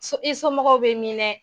So i somɔgɔw bɛ min dɛ.